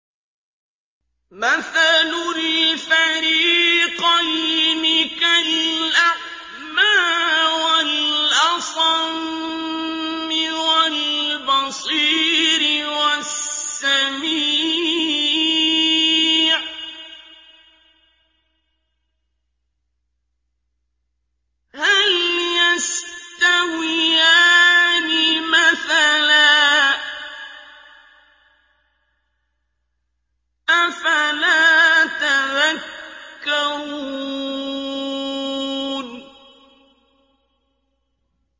۞ مَثَلُ الْفَرِيقَيْنِ كَالْأَعْمَىٰ وَالْأَصَمِّ وَالْبَصِيرِ وَالسَّمِيعِ ۚ هَلْ يَسْتَوِيَانِ مَثَلًا ۚ أَفَلَا تَذَكَّرُونَ